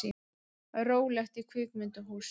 Rólegt í kvikmyndahúsum